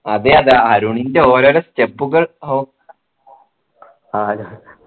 അതെയതെ അരുണിൻ്റെ ഓരോരോ step കൾ ഓഹ്